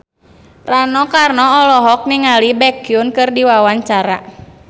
Rano Karno olohok ningali Baekhyun keur diwawancara